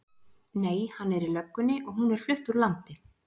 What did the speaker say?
Nei, hann er í löggunni og hún er flutt úr landi.